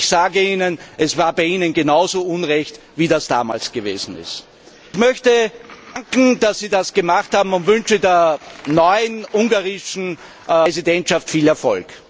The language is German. Ich sage Ihnen Es war bei Ihnen genau so unrecht, wie es damals gewesen ist. Ich möchte danken, dass Sie das gemacht haben und wünsche der neuen ungarischen Präsidentschaft viel Erfolg!